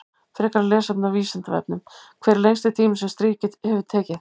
Frekara lesefni á Vísindavefnum: Hver er lengsti tími sem stríð hefur tekið?